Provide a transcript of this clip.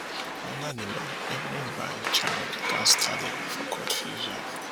under di law evidence by a child gatz tally bifor court fit use am